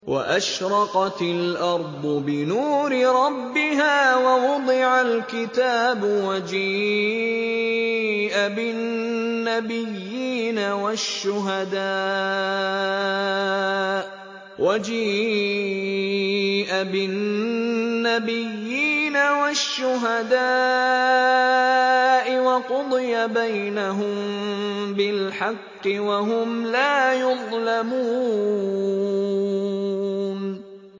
وَأَشْرَقَتِ الْأَرْضُ بِنُورِ رَبِّهَا وَوُضِعَ الْكِتَابُ وَجِيءَ بِالنَّبِيِّينَ وَالشُّهَدَاءِ وَقُضِيَ بَيْنَهُم بِالْحَقِّ وَهُمْ لَا يُظْلَمُونَ